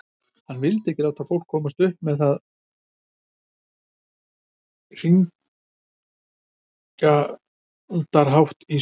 Hann vildi ekki láta fólk komast upp með hringlandahátt í samtali.